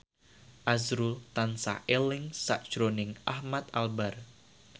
azrul tansah eling sakjroning Ahmad Albar